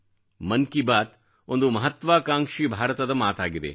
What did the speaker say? ಮನ್ ಕಿ ಬಾತ್ ಒಂದು ಮಹತ್ವಾಕಾಂಕ್ಷಿ ಭಾರತದ ಮಾತಾಗಿದೆ